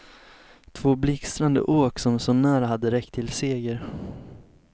Två blixtrande åk som så när hade räckt till seger.